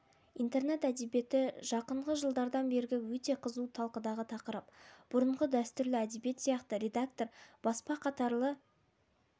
интернет әдебиеті жақынғы жылдардан бергі өте қызу талқыдағы тақырып бұрынғы дәстүрлі әдебиет сияқты редактор баспа қатарлы